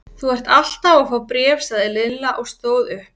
Þú ert alltaf að fá bréf sagði Lilla og stóð upp.